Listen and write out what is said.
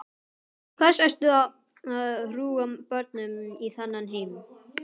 Til hvers ert þú að hrúga börnum í þennan heim?